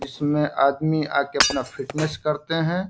इसमें आदमी आ के अपना फिटनेश करते हैं।